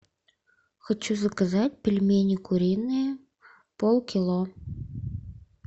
хочу заказать пельмени куриные полкило